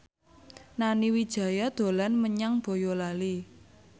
Nani Wijaya dolan menyang Boyolali